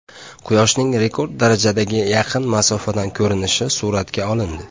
Quyoshning rekord darajadagi yaqin masofadan ko‘rinishi suratga olindi.